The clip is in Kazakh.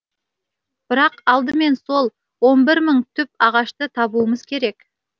бірақ алдымен сол бір мың түп ағашты табуымыз керек